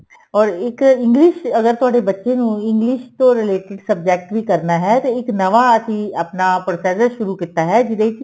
or ਇੱਕ English ਅਗਰ ਤੁਹਾਡੇ ਬੱਚੇ ਨੂੰ English ਤੋਂ related subject ਵੀ ਕਰਨਾ ਹੈ ਤੇ ਇੱਕ ਨਵਾ ਅਸੀਂ ਆਪਣਾ procedure ਸ਼ੁਰੂ ਕੀਤਾ ਹੈ ਜਿਹੜੇ ਵਿੱਚ